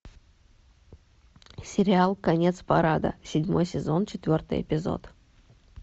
сериал конец парада седьмой сезон четвертый эпизод